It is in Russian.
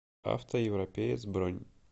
автоевропеец бронь